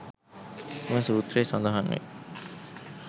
එම සූත්‍රයේ සඳහන් වේ.